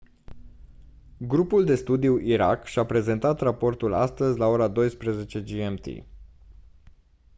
grupul de studiu irak și-a prezentat raportul astăzi la 12:00 gmt